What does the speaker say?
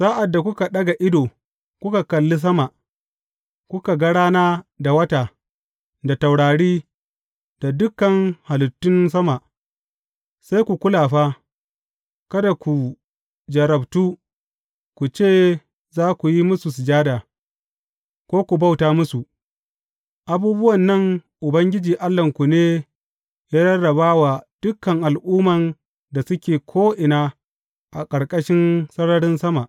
Sa’ad da kuka ɗaga ido kuka kali sama, kuka ga rana da wata, da taurari, da dukan halittun sama, sai ku kula fa, kada ku jarrabtu, ku ce za ku yi musu sujada, ko ku bauta musu; abubuwan nan Ubangiji Allahnku ne ya rarraba wa dukan al’umman da suke ko’ina a ƙarƙashin sararin sama.